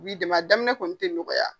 U b'i dɛmɛ a daminɛ kɔni te nɔgɔya.